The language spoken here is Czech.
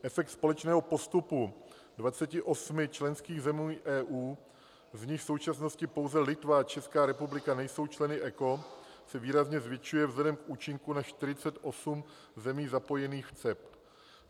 Efekt společného postupu 28 členských zemí EU, z nichž v současnosti pouze Litva a Česká republika nejsou členy ECO, se výrazně zvětšuje vzhledem k účinku na 48 zemí zapojených v CEPT.